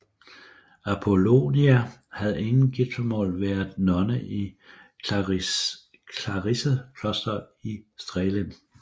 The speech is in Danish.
Apolonia havde inden giftermålet været nonne i clarisserklosteret i Strehlen